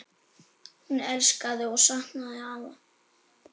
Hún elskaði og saknaði afa.